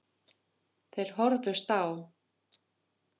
Þeir horfðust á.